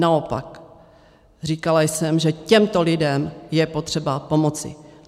Naopak, říkala jsem, že těmto lidem je potřeba pomoci.